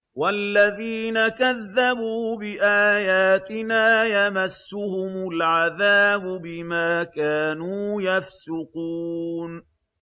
وَالَّذِينَ كَذَّبُوا بِآيَاتِنَا يَمَسُّهُمُ الْعَذَابُ بِمَا كَانُوا يَفْسُقُونَ